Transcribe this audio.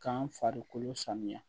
K'an farikolo sanuya